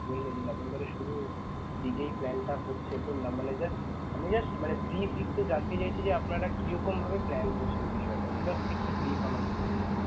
বললেন যে নভেম্বর এর শুরুতে যেই plan টা হচ্ছে তো মানে just আমি just মানে brief একটু জানতে চাইছি যে আপানারা কিরকম ভাবে plan করছেন বিষয়টা, তো just একটু brief আমাকে দিবেন.